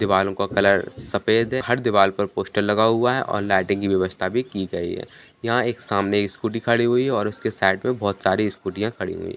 दीवालों को कलर सफेद है हर दीवाल पर पोस्टर लगा हुआ है और लाइटिंग की व्यवस्था की गई है यहाँ सामने एक स्कूटी खड़ी हुई है और उसके साइड पे बहोत सारी स्कूटीयाँ खड़ी हुई हैं।